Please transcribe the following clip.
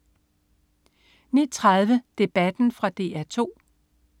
09.30 Debatten. Fra DR 2